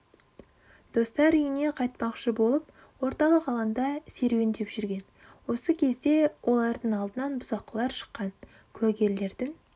достар үйіне қайтпақшы болып орталық алаңда серуендеп жүрген осы кезде олардың алдынан бұзақылар шыққан кугерлердің